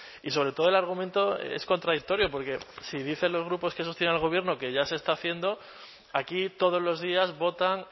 y sobre todo el argumento es contradictorio porque si dicen los grupos que sostienen al gobierno que ya se está haciendo aquí todos los días votan